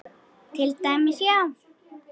Til dæmis, já.